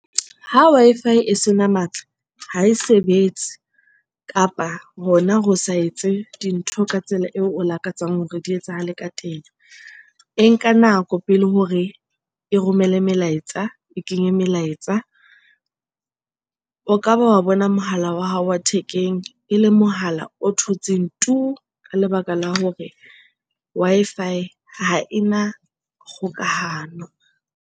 Ho Wi-Fi e sena matla ha e sebetse kapa hona ho sa etse dintho ka tsela eo o lakatsang hore di etsahale ka teng. E nka nako pele hore e romele melaetsa, e kenye melaetsa. O ka ba wa bona mohala wa hao wa thekeng ele mohala o thotseng tuu! Ka lebaka la hore Wi-Fi ha ena kgokahano.